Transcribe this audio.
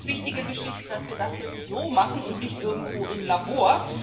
Das ist auch eine ganz wichtige Geschichte, dass wir das jetzt so machen und nicht irgendwo im Labor.